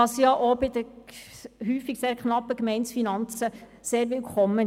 Das ist bei den häufig sehr knappen Gemeindekassen auch sehr willkommen.